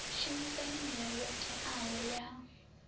shumisa milayo yo teaho ya